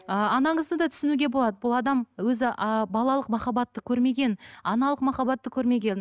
ы анаңызды да түсінуге болда бұл адам өзі ы балалық махаббатты көрмеген аналық махаббатты көрмеген